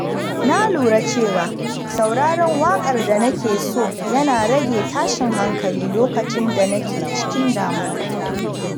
Na lura cewa sauraron waƙar da nake so yana rage tashin hankali lokacin da nake cikin damuwa.